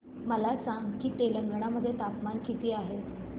मला सांगा की तेलंगाणा मध्ये तापमान किती आहे